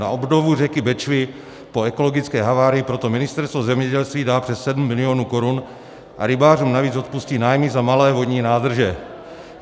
Na obnovu řeky Bečvy po ekologické havárii proto Ministerstvo zemědělství dá přes 7 milionů korun a rybářům navíc odpustí nájmy za malé vodní nádrže.